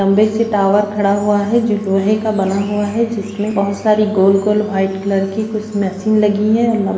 लम्बे से टावर खड़ा हुआ है जो लोहे का बना हुआ है जिनमें बहुत सारी गोल-गोल वाइट कलर की कुछ मशीन लगी हैं और लम --